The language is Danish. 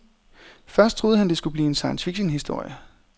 Først troede han det skulle blive en science fiction historie.